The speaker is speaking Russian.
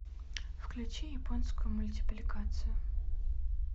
включи японскую мультипликацию